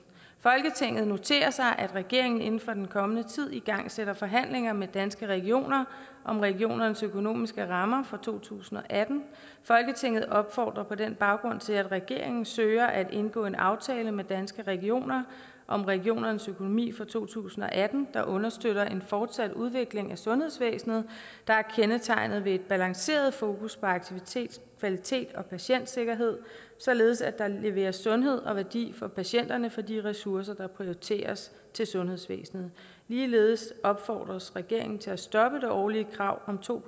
folketinget noterer sig at regeringen inden for den kommende tid igangsætter forhandlinger med danske regioner om regionernes økonomiske rammer for to tusind og atten folketinget opfordrer på den baggrund til at regeringen søger at indgå en aftale med danske regioner om regionernes økonomi for to tusind og atten der understøtter en fortsat udvikling af sundhedsvæsenet der er kendetegnet ved et balanceret fokus på aktivitet kvalitet og patientsikkerhed således at der leveres sundhed og værdi for patienterne for de ressourcer der prioriteres til sundhedsvæsenet ligeledes opfordres regeringen til at stoppe det årlige krav om to